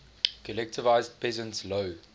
collectivized peasants low